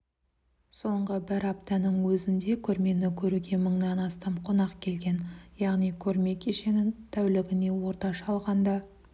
соңғы бір аптаның өзінде көрмені көруге мыңнан астам қонақ келген яғни көрме кешенін тәулігіне орташа алғанда